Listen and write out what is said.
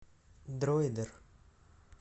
дроидер